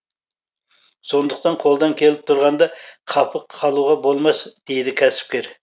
сондықтан қолдан келіп тұрғанда қапы қалуға болмас дейді кәсіпкер